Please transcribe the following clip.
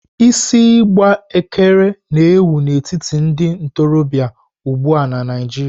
Isi igbe ekere na ewù n'etiti ndị ntorobịa ugbua na Naịjirịa.